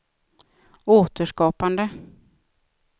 återskapande